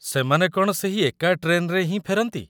ସେମାନେ କ'ଣ ସେହି ଏକା ଟ୍ରେନ୍‌ରେ ହିଁ ଫେରନ୍ତି ?